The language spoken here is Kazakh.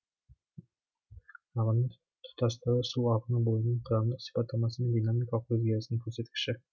ағынның тұтастығы су ағыны бойының құрамдық сипаттамасы мен динамикалық өзгерісінің көрсеткіші